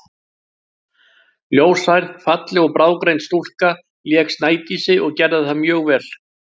Ljóshærð, falleg og bráðgreind stúlka lék Snædísi og gerði það mjög vel.